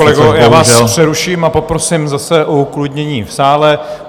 Pane kolego, já vás přeruším a poprosím zase o uklidnění v sále.